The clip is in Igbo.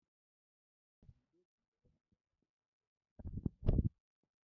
Ude tinyere nna ya nri n'efere